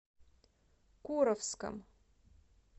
куровском